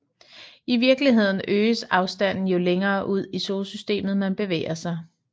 I virkeligheden øges afstanden jo længere ud i Solsystemet man bevæger sig